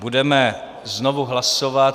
Budeme znovu hlasovat.